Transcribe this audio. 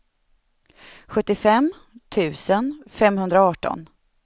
sjuttiofem tusen femhundraarton